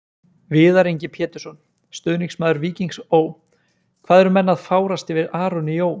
Viðar Ingi Pétursson, stuðningsmaður Víkings Ó.: Hvað eru menn að fárast yfir Aroni Jó?